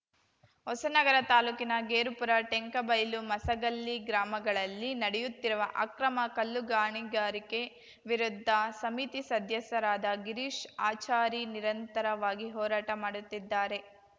ಹೊಸನಗರ ತಾಲೂಕಿನ ಗೇರುಪುರ ಟೆಂಕಬೈಲು ಮಸಗಲ್ಲಿ ಗ್ರಾಮಗಳಲ್ಲಿ ನಡೆಯುತ್ತಿರುವ ಅಕ್ರಮ ಕಲ್ಲುಗಣಿಗಾರಿಕೆ ವಿರುದ್ಧ ಸಮಿತಿ ಸದ್ದಸ್ಯರಾದ ಗಿರೀಶ್‌ ಆಚಾರಿ ನಿರಂತರವಾಗಿ ಹೋರಾಟ ಮಾಡುತ್ತಿದ್ದಾರೆ